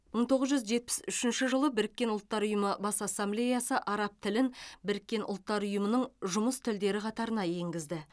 мың тоғыз жүз жетпіс үшінші жылы біріккен ұлттар ұйымы бас ассамблеясы араб тілін біріккен ұлттар ұйымының жұмыс тілдері қатарына енгізді